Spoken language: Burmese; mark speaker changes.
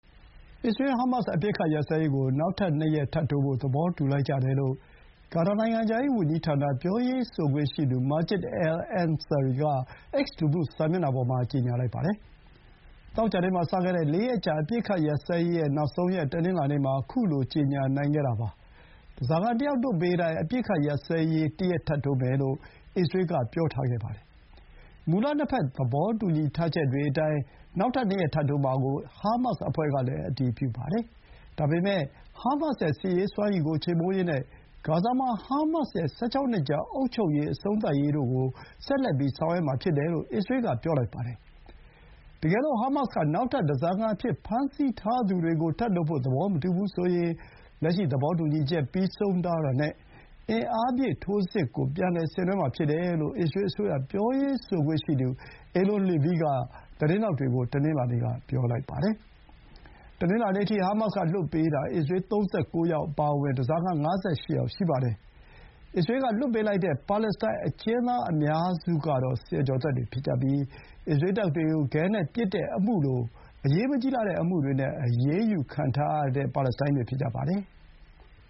Speaker 1: အစ္စရေး ဟားမတ်စ် အပစ်အခတ်ရပ်စဲရေးကို နောက်ထပ် ၂ ရက်တိုးချဲ့ဖို့ သဘောတူလိုက်ကြတယ်လို့ ကာတာ နိုင်ငံခြားရေးဝန်ကြီးဌာန ပြောရေးဆိုခွင့်ရှိသူ မာဂျစ် အယ်လ် အန်ဆာရီ (Majid Al Ansary) က X လူမှု စာမျက်နှာပေါ် မှာ ကြေညာလိုက်ပါတယ်။ သောကြာနေ့မှာ စခဲ့တဲ့ ၄ ရက်ကြာ အပစ်ရပ်ရေးရဲ့နောက်ဆုံးရက် တနင်္လာနေ့မှာ ခုလို ကြေညာနိုင်ခဲ့တာဖြစ်ပါတယ်။ ဓားစာခံတယောက်လွှတ်ပေးတိုင်း အပစ်အခတ်ရပ်စဲရေးတရပ် ထပ်တိုးမယ်လို့ အစ္စရေးက ပြောထားခဲ့ပါတယ်။ မူလ နှစ်ဘက် သဘောတူညီထားချက်အတိုင်း နောက်ထပ် နှစ်ရက်ထပ်တိုးမှာကို ဟားမတ်စ် အဖွဲ့ကလည်း အတည်ပြုပါတယ်။ ဒါပေမဲ့ ဟားမတ်စ်ရဲ့ စစ်ရေးစွမ်းရည်ကို ချေမှုန်းရေးနဲ့ ဂါဇာမှာ ဟားမတ်စ်ရဲ့ ၁၆ နှစ်ကြာအုပ်ချုပ်ရေး အဆုံးသတ်ရေးတို့ကို ဆက်လက် ဆောင်ရွက်မှာဖြစ်တယ်လို့ အစ္စရေးက ဆိုပါတယ်။ တကယ်လို့ ဟားမတ်စ် က နောက်ထပ် ဓားစာခံအဖြစ် ဖမ်းဆီးထားသူတွေကို ထပ်လွှတ်ဖို့ သဘောမတူဘူးဆိုရင် လက်ရှိ သဘောတူညီချက် ပြီးဆုံးသွားတာနဲ့ အင်အားပြည့် ထိုးစစ်ကို ပြန်လည်ဆင်နွှဲမှာဖြစ်တယ်လို့ အစ္စရေးအစိုးရ ပြောရေးဆိုခွင့်ရှိသူ အေလွန် လီဗီ က သတင်းထောက်တွေကို တနင်္လာနေ့က ပြောပါတယ်။ တနင်္လာနေ့ နှောင်းပိုင်းအထိ ဟားမတ်စ်က လွှတ်ပေးတာ အစ္စရေး ၃၉ ယောက်အပါအဝင် ဓားစာခံ ၅၈ ယောက် ရှိပါတယ်။ အစ္စရေးကလွှတ်ပေးတဲ့ ပါလက်စတိုင်းအကျဥ်းသားအများစုကတော့ ဆယ်ကျော်သက်တွေ ဖြစ်ပြီး အစ္စရေးတပ်တွေကို ခဲနဲ့ပစ်တဲ့အမှုလို အရေးမကြီးလှတဲ့အမှုတွေနဲ့ အရေးယူခံထားရသူတွေ ဖြစ်ကြပါတယ်။